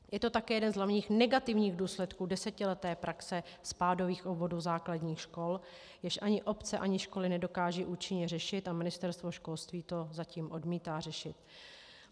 Je to také jeden z hlavních negativních důsledků desetileté praxe spádových obvodů základních škol, jež ani obce ani školy nedokážou účinně řešit, a Ministerstvo školství to zatím odmítá řešit.